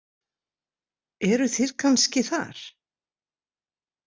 Eruð þið kannski þar?